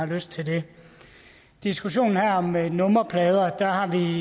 lyst til det i diskussionen her om nummerplader har vi i